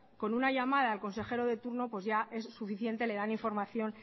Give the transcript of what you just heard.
con una llamada al consejero de turno pues ya es suficiente le dan información